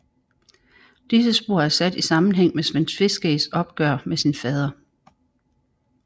Disse spor er sat i sammenhæng med Sven Tveskægs opgør med sin fader